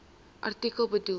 artikel bedoel